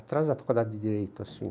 Atrás da faculdade de Direito, assim.